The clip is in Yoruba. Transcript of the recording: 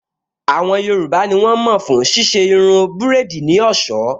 Àwọn yoòbá ní wọ́n mọ̀ fún ṣíṣe irun búrèdì ní ọ̀sọ́